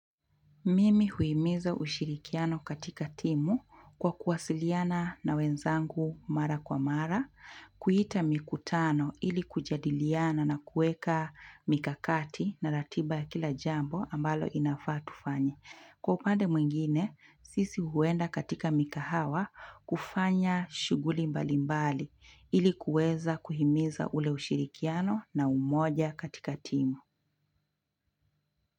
Mimi huimiza ushirikiano katika timu kwa kuwasiliana na wenzangu mara kwa mara, kuita mikutano ili kujadiliana na kuweka mikakati na ratiba ya kila jambo ambalo inafaa tufanye. Kwa upande mwingine, sisi huenda katika mikahawa kufanya shuguli mbalimbali ili kuweza kuhimiza ule ushirikiano na umoja katika timu.